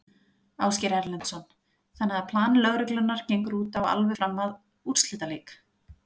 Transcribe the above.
Ásgeir Erlendsson: Þannig að plan lögreglunnar gengur út á alveg fram að úrslitaleik?